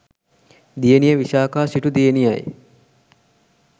දියණිය විශාඛා සිටු දියණියයි.